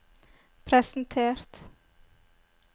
presentert